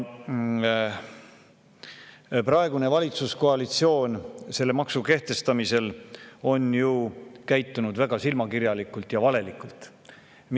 Praegune valitsuskoalitsioon on selle maksu kehtestamisel käitunud väga silmakirjalikult ja valelikult.